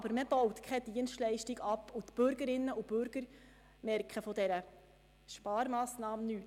Es werden jedoch keine Dienstleistungen abgebaut, und die Bürgerinnen und Bürger merken von dieser Sparmassnahme nichts.